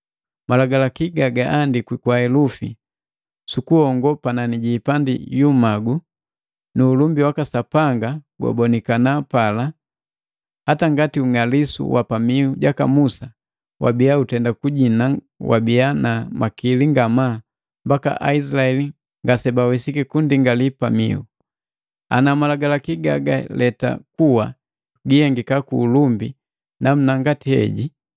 Malagalaki gaandikwi kwa helufi sukuhongo panani jii ipandi hii imagu, nu ulumbi waka sapanga gwabonikana pala bagapia. Hata ngati ung'aliku wa pamiu jaka Musa wabia utenda kujina wabii na makili ngamaa mbaka Aisilaeli ngasebawesiki kunndingali pamiu. Ana malagalaki gagaleta kuwa jihengiki kwa ulumbi namuna ngati heji,